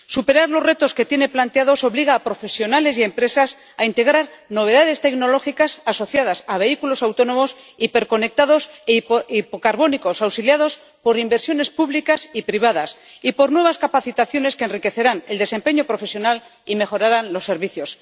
Superar los retos que tiene planteados obliga a profesionales y a empresas a integrar novedades tecnológicas asociadas a vehículos autónomos, hiperconectados e hipocarbónicos auxiliados por inversiones públicas y privadas y por nuevas capacitaciones que enriquecerán el desempeño profesional y mejorarán los servicios.